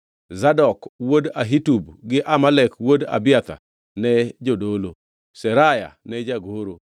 Zadok wuod Ahitub gi Ahimelek wuod Abiathar ne jodolo; Seraya ne jagoro;